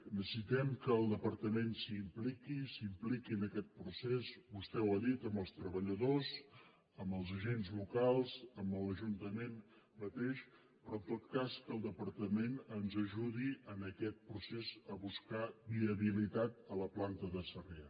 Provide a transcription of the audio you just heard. necessitem que el departament s’hi impliqui s’impliqui en aquest procés vostè ho ha dit amb els treballadors amb els agents locals amb l’ajuntament mateix però en tot cas que el departament ens ajudi en aquest procés a buscar viabilitat a la planta de sarrià